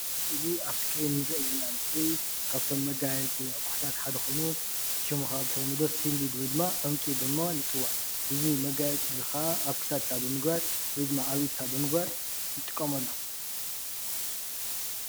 እዚ ኣብ እስክሪን ንሪኦ ዘለና ምስሊ ካብቶም መጋየፂታት ኣቑሑታት ሓደ ኾይኑ ሽሙ ኸኣ ብተለምዶ ስንዲድ ወይድማ ዕንቁ ብምባል ይፅዋዕ፡፡ እዚ መጋየፂ እዚ ኸኣ ኣብ ክሳድካ ብምግባር ወይ ድማ ኣብ ኢድካ ብምግባር ንጥቀመሉ፡፡